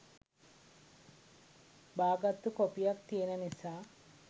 බාගත්තු කොපියක් තියෙන නිසා